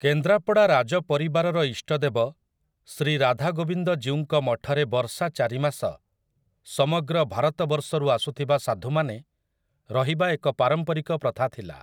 କେନ୍ଦ୍ରାପଡ଼ା ରାଜପରିବାରର ଇଷ୍ଟଦେବ ଶ୍ରୀ ରାଧାଗୋବିନ୍ଦ ଜୀଉଙ୍କ ମଠରେ ବର୍ଷା ଚାରିମାସ ସମଗ୍ର ଭାରତବର୍ଷରୁ ଆସୁଥିବା ସାଧୁମାନେ ରହିବା ଏକ ପାରମ୍ପରିକ ପ୍ରଥା ଥିଲା ।